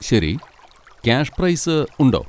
ശരി, cash prize ഉണ്ടോ?